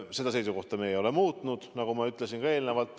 Seda seisukohta ei ole me muutnud, nagu ma ütlesin ka eelnevalt.